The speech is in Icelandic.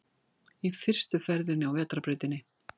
Í fyrstu ferðinni á vetrarbrautinni